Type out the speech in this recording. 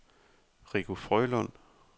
Rico Frølund